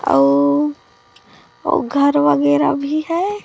औ वो घर वगैरा भी है।